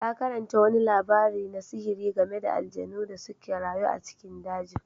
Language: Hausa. Ta karanta wani labari na sihiri game da aljanu da suka rayu a cikin dajin.